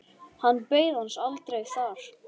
Hann beið hans aldrei þar.